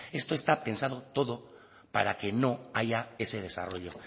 esto está pensado todo para que no haya ese desarrollo